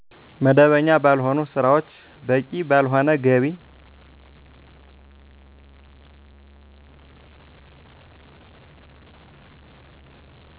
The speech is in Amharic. መደበኛ ባልሆኑ ስራዎች በቂ ባልሆነ ገቢ